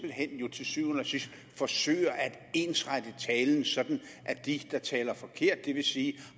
hen til syvende og sidst forsøger at ensrette talen sådan at de der taler forkert det vil sige